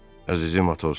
Əzizim Atos.